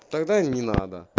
тогда не надо